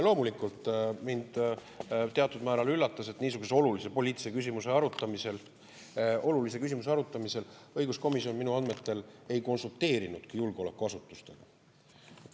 Loomulikult mind teatud määral üllatas, et niisuguse olulise poliitilise küsimuse arutamisel õiguskomisjon minu andmetel ei konsulteerinudki julgeolekuasutustega.